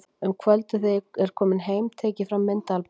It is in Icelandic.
Um kvöldið þegar ég er kominn heim tek ég fram myndaalbúmið.